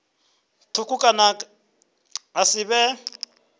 thukhu kana ha si vhe